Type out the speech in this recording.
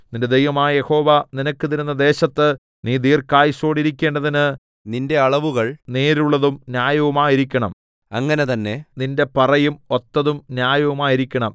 നിന്റെ ദൈവമായ യഹോവ നിനക്ക് തരുന്ന ദേശത്ത് നീ ദീർഘായുസ്സോടിരിക്കേണ്ടതിന് നിന്റെ അളവുകൾ നേരുള്ളതും ന്യായവുമായിരിക്കണം അങ്ങനെ തന്നെ നിന്റെ പറയും ഒത്തതും ന്യായവുമായിരിക്കണം